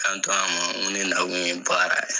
Kanto a ma, n ko ne nakun ye baara ye.